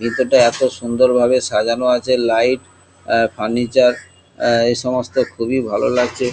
ভেতরটা এত সুন্দর ভাবে সাজানো আছে লাইট আ ফার্নিচার আ এই সমস্ত খুবই ভালো লাগছে।